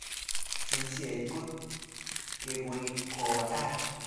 Jinsiat kot kekoi kowo tai